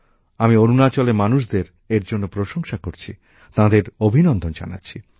আমি অরুণাচলের মানুষদের এর জন্য প্রশংসা করছি তাঁদের অভিনন্দন জানাচ্ছি